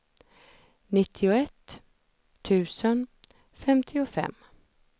nittioett tusen femtiofem